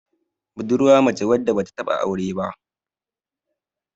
budurwa mace wadda ba ta taba aure ba